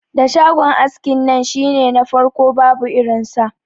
Da shagon askin nan shine na farko babu irin sa.